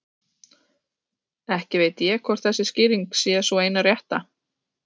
Ekki veit ég hvort þessi skýring er sú eina rétta.